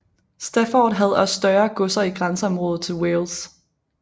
Stafford havde også større godser i grænseområdet til Wales